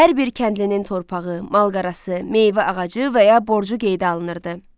Hər bir kəndlinin torpağı, malqarası, meyvə ağacı və ya borcu qeydə alınırdı.